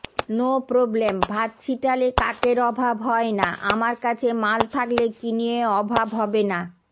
no problem ভাত ছিটালে কাকের অভাব হয়না আমার কাছে মাল থাকলে কিনিয়ে অভাব হবেনা